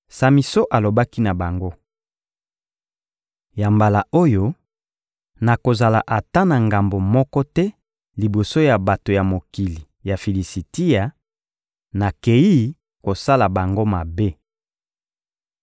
Samison alobaki na bango: — Ya mbala oyo, nakozala ata na ngambo moko te liboso ya bato ya mokili ya Filisitia; nakeyi kosala bango mabe.